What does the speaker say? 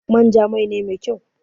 manja Mai ne Mai kyau.